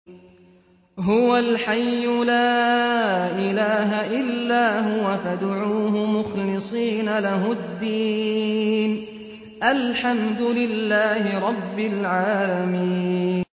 هُوَ الْحَيُّ لَا إِلَٰهَ إِلَّا هُوَ فَادْعُوهُ مُخْلِصِينَ لَهُ الدِّينَ ۗ الْحَمْدُ لِلَّهِ رَبِّ الْعَالَمِينَ